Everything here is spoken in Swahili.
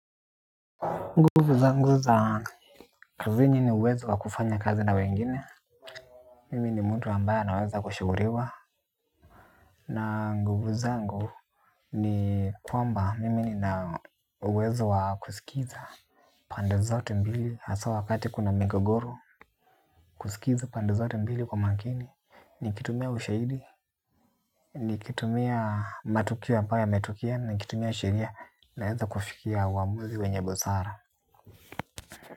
Nguvu zangu za kazini ni uwezo wa kufanya kazi na wengine. Mimi ni mtu ambaye anaweza kushuguriwa. Na nguvu zangu ni kwamba mimi nina uwezo wa kuskiza. Pande zote mbili asa wakati kuna migogoro. Kusikiza pande zote mbili kwa makini nikitumia ushaidi nikitumia matukio ambayo yametokea nikitumia sheria naeza kufikia uamuzi wenye busara.